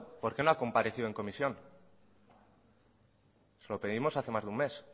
por qué no ha comparecido en comisión se lo pedimos hace más de un mes